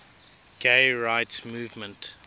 gay rights movement